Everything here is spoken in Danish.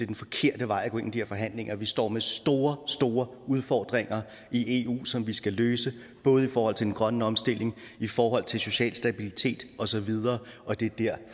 den forkerte vej at gå ind i de her forhandlinger vi står med store store udfordringer i eu som vi skal løse både i forhold til den grønne omstilling i forhold til social stabilitet osv og det er der